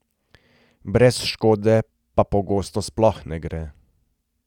Brez škode pa pogosto sploh ne gre.